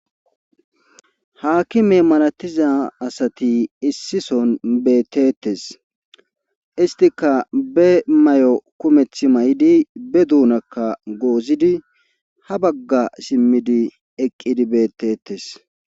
haakime malatiza asati issison beettetes istika be may7o kumeth may7di be duunakka goozidi ha bagga simmidi eqqidi beettetes